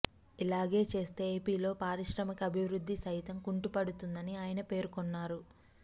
ఇలాగే చేస్తే ఏపీలో పారిశ్రామిక అభివృద్ధి సైతం కుంటుపడుతుందని ఆయన పేర్కొన్నారు